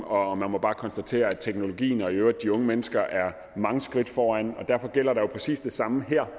og man må bare konstatere at teknologien og i øvrigt også de unge mennesker er mange skridt foran derfor gælder der jo præcis det samme her